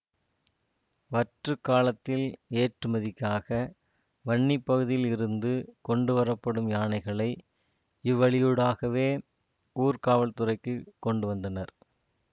வற்றுக் காலத்தில் ஏற்றுமதிக்காக வன்னி பகுதியில் இருந்து கொண்டுவரப்படும் யானைகளை இவ்வழியூடாகவே ஊர்காவல்துறைக்குக் கொண்டுவந்தனர்